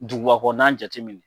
Duguba kɔnɔna jate minɛ.